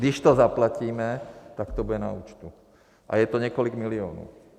Když to zaplatíme, tak to bude na účtu, a je to několik milionů.